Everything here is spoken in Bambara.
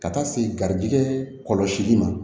Ka taa se garijɛgɛ kɔlɔsi ma